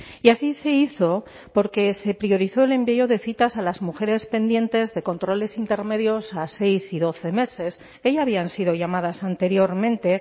y así se hizo porque se priorizó el envío de citas a las mujeres pendientes de controles intermedios a seis y doce meses que ya habían sido llamadas anteriormente